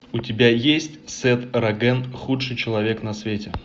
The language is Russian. у тебя есть сет роген худший человек на свете